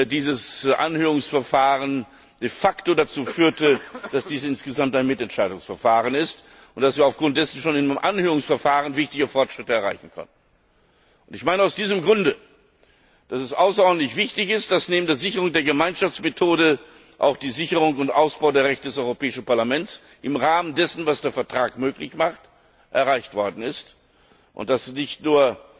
dieses Anhörungsverfahren de facto dazu führte, dass dies insgesamt ein Mitentscheidungsverfahren ist, und dass wir aufgrund dessen schon beim Anhörungsverfahren wichtige Fortschritte erreichen konnten. Aus diesem Grund ist es außerordentlich wichtig, dass neben der Sicherung der Gemeinschaftsmethode auch die Sicherung und der Ausbau der Rechte des Europäischen Parlaments im Rahmen dessen, was der Vertrag möglich macht, erreicht worden ist und das nicht